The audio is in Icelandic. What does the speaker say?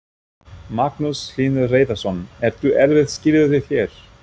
Magnús Hlynur Hreiðarsson: Eru erfið skilyrði hér?